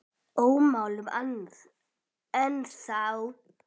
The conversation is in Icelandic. Ómáluð ennþá.